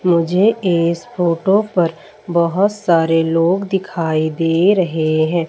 मुझे इस फोटो पर बहोत सारे लोग दिखाई दे रहे हैं।